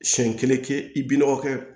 Siyɛn kelen kɛ i bi nɔgɔ kɛ